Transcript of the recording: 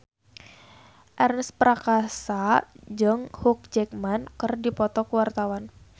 Ernest Prakasa jeung Hugh Jackman keur dipoto ku wartawan